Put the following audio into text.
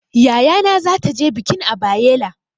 Yayana zata je bikin a Bayela.